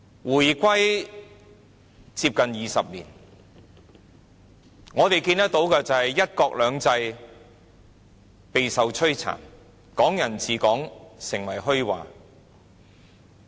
回歸接近20年，我們看到"一國兩制"備受摧殘，"港人治港"成為虛話。